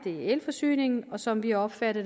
og elforsyningen som vi opfatter